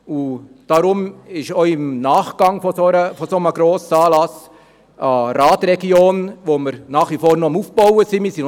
Deshalb ist auch im Nachgang eines solchen Grossanlasses eine Radregion, die wir nach wie vor am Aufbauen sind, eine wichtige Sache.